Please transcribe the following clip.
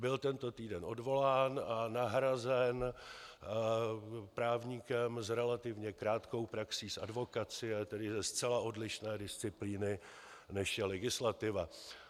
Byl tento týden odvolán a nahrazen právníkem s relativně krátkou praxí z advokacie, tedy ze zcela odlišné disciplíny, než je legislativa.